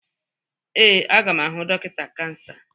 Ee, aga m ahụ dọkịta kansa.